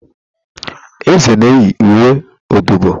eze nēyi uwe ododo